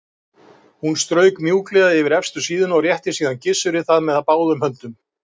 Hún strauk mjúklega yfir efstu síðuna og rétti síðan Gissuri það með báðum höndum.